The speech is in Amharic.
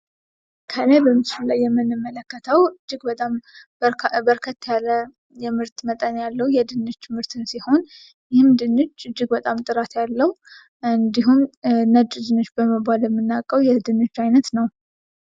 ከላይ በምስሉ ላይ የምንመለከተው እጅግ በጣም በርከት ያለ የምርት መጠን ያለው የድንች ምርትን ሲሆን ይህም ድንች እጅግ በጣም ጥራት ያለው እንዲሁም ነጭ ድንች በመባል የምናውቀው የድንች አይነት ነው ።